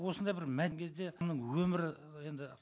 осындай бір мән кезде өмірі енді